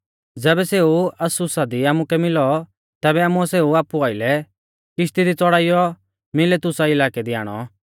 ज़ैबै सेऊ अस्सुसा दी आमुकै मिलौ तैबै आमुऐ सेऊ आपु आइलै किश्ती दी च़ौड़ाइयौ मिलेतुसा इलाकै दी आणौ